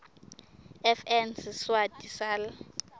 fn siswati sal